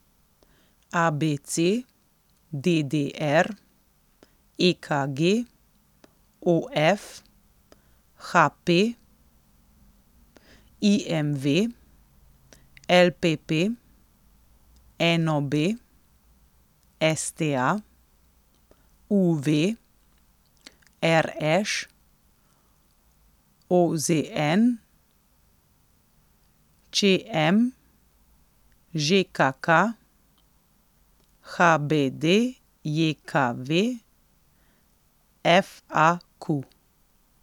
A B C; D D R; E K G; O F; H P; I M V; L P P; N O B; S T A; U V; R Š; O Z N; Č M; Ž K K; H B D J K V; F A Q.